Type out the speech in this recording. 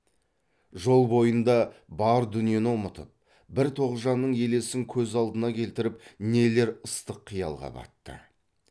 жол бойында бар дүниені ұмытып бір тоғжанның елесін көз алдына келтіріп нелер ыстық қиялға батты